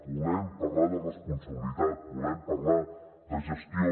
volem parlar de responsabilitat volem parlar de gestió